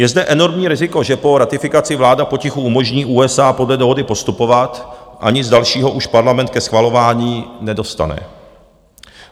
Je zde enormní riziko, že po ratifikaci vláda potichu umožní USA podle dohody postupovat a nic dalšího už Parlament ke schvalování nedostane.